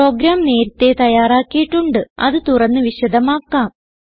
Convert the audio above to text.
programme നേരത്തേ തയ്യാറാക്കിയിട്ടുണ്ട് അത് തുറന്ന് വിശദമാക്കാം